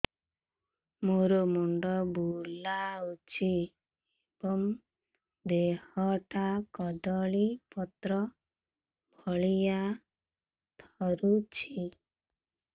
ମୋର ମୁଣ୍ଡ ବୁଲାଉଛି ଏବଂ ଦେହଟା କଦଳୀପତ୍ର ଭଳିଆ ଥରୁଛି